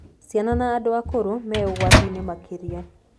Ciana na andũ akũrũ me ũgwati-inĩ makĩria.